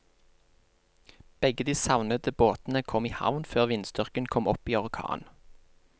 Begge de savnede båtene kom i havn før vindstyrken kom opp i orkan.